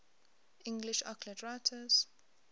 english occult writers